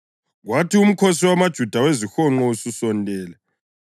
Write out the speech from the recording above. Kwathi uMkhosi wamaJuda weziHonqo ususondele